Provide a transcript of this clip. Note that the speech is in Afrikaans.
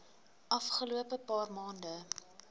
afgelope paar maande